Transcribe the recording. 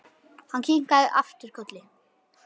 Hann kinkaði aftur kolli.